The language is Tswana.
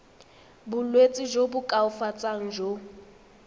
bolwetsi jo bo koafatsang jo